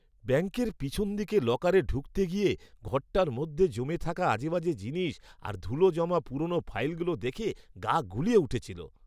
ব্যাঙ্কের পেছন দিকে লকারে ঢুকতে গিয়ে ঘরটার মধ্যে জমে থাকা আজেবাজে জিনিস আর ধুলো জমা পুরনো ফাইলগুলো দেখে গা গুলিয়ে উঠেছিল।